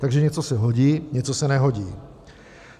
Takže něco se hodí, něco se nehodí.